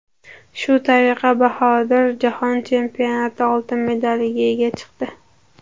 Shu tariqa Bahodir Jahon chempionati oltin medaliga ega chiqdi.